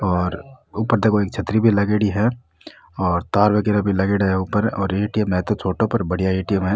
और ऊपर देखो एक छतरी भी लागयोड़ी है और तार वगेरो भी लागयोड़ा है ऊपर और ए.टी.एम. है तो छोटो पर बढ़िया ए.टी.एम. है।